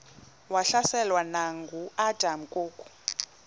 wahlaselwa nanguadam kok